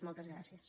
moltes gràcies